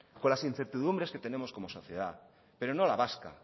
con las incertidumbres que tenemos como sociedad pero no la vasca